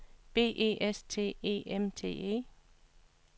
B E S T E M T E